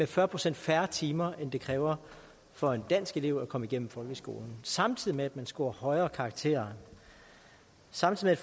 fyrre procent færre timer end det kræver for en dansk elev at komme igennem folkeskolen samtidig med at man scorer højere karakterer samtidig